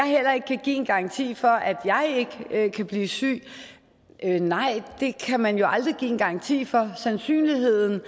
heller ikke give en garanti for at jeg ikke kan blive syg nej og det kan man jo heller aldrig give en garanti for sandsynligheden